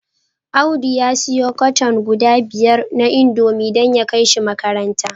Audu ya siyo cartoon guda biyar na indomie dan ya kaishi makaranta